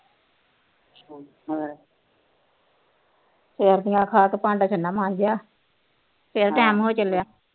ਰੋਟੀਆਂ ਖਾ ਕੇ ਤੇ ਭਾਂਡਾ ਛੰਨਾ ਮਾਜਿਆ ਫਿਰ ਟੈਮ ਹੋ ਚੱਲਿਆ